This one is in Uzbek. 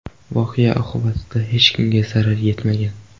Voqea oqibatida hech kimga zarar yetmagan.